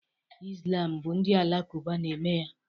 Islam bụ ndị Alakụba na-eme ya